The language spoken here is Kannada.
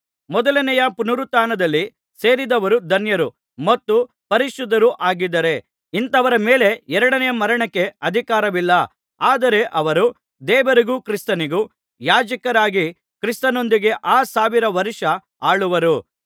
ಮೊದಲನೇಯ ಪುನರುತ್ಥಾನದಲ್ಲಿ ಸೇರಿದವರು ಧನ್ಯರೂ ಮತ್ತು ಪರಿಶುದ್ಧರೂ ಆಗಿದ್ದಾರೆ ಇಂಥವರ ಮೇಲೆ ಎರಡನೆಯ ಮರಣಕ್ಕೆ ಅಧಿಕಾರವಿಲ್ಲ ಆದರೆ ಅವರು ದೇವರಿಗೂ ಕ್ರಿಸ್ತನಿಗೂ ಯಾಜಕರಾಗಿ ಕ್ರಿಸ್ತನೊಂದಿಗೆ ಆ ಸಾವಿರ ವರ್ಷ ಆಳುವರು